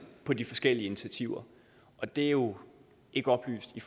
på de forskellige initiativer og det er jo ikke oplyst i